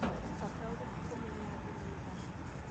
He bata ũrĩkũ kũmenya andũ nĩ aigana?